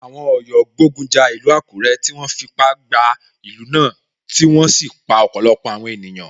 Àwọn Ọ̀yọ́ gbógun ja ìlú Àkúré, tí wọ́n fipá gba ìlú náà tí wọ́n sì pa ọ̀pọ̀lọpọ̀ àwọn ènìyàn.